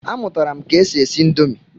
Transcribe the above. A mụtara m ke e si esi indomi.